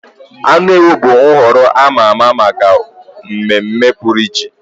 Anụ ewu bụ nhọrọ a ma ama maka mmemme pụrụ iche.